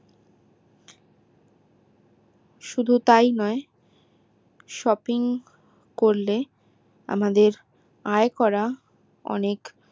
শুধু তাই নয় shopping করলে আমাদের এই করা অনেক